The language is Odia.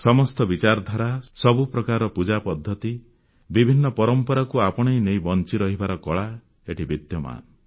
ସମସ୍ତ ବିଚାରଧାରା ସବୁ ପ୍ରକାରର ପୂଜାପଦ୍ଧତି ବିଭିନ୍ନ ପରମ୍ପରାକୁ ଆପଣେଇ ନେଇ ବଂଚିରହିବାର କଳା ଏଠି ବିଦ୍ୟମାନ